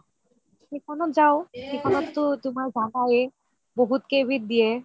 সেইখনত যাও সেইখনতটো জানায়ে বহুত কেই বিধ দিয়ে